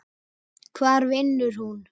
Hvar vinnur hún?